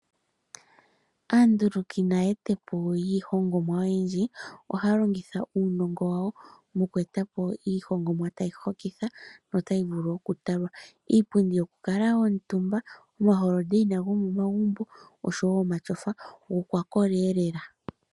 Aanduluki naayetipo yiihongomwa oyendji, ohaya longitha uunongo wawo moku eta po iihongomwa tayi hokitha notayi vulu okutalwa. Iipundi yokukalwa omutumba, omalapi gopomakende gomomagumbo noshowo omatyofa gokwakola lela.